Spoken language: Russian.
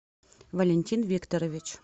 валентин викторович